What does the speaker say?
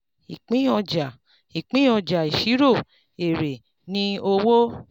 ìpín ọjà ìpín ọjà ìṣirò èrè ni owó.